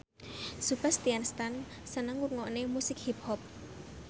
Sebastian Stan seneng ngrungokne musik hip hop